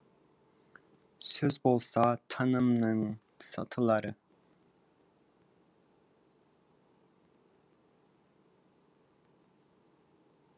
сөз болса танымның сатылары